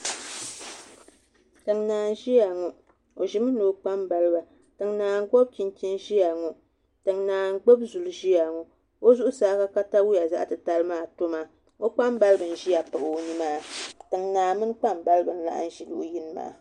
Tiŋnãa n ʒiya ŋo o ʒimi ni o kpambaliba naa n gbubi chinchin ʒiya ŋo tiŋ naa n gbubi zuli ʒiya ŋo o zuɣusaa ka katawiya zaɣ titali maa to maa o kpambaliba n ʒiya pahi o zuɣu maa tiŋnaa mini kpambalibi n ʒi luɣu yini maa